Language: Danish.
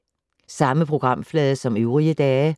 Samme programflade som øvrige dage